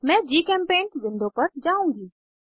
मैं GChemPaint window पर जाउंगी